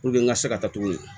Puruke n ka se ka taa cogo min na